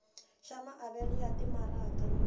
xa maavelo ya timaraka ni